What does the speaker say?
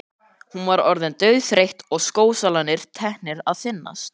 Hún var orðin dauðþreytt og skósólarnir teknir að þynnast.